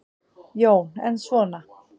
Jón: En svona.